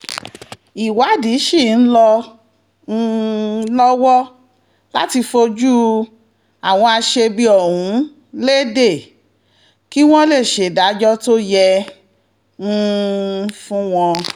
ìwádìí sì ń lọ um lọ́wọ́ láti fojú àwọn aṣebi ọ̀hún lédè kí wọ́n lè ṣèdájọ́ tó yẹ um fún wọn